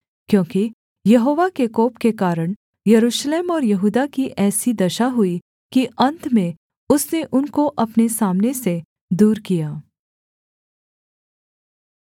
क्योंकि यहोवा के कोप के कारण यरूशलेम और यहूदा की ऐसी दशा हुई कि अन्त में उसने उनको अपने सामने से दूर किया